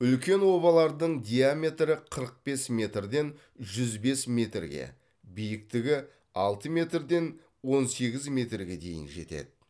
үлкен обалардың диаметрі қырық бес метрден жүз бес метрге биіктігі алты метрден он сегіз метрге дейін жетеді